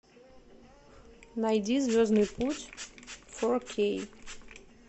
найди звездный путь фор кей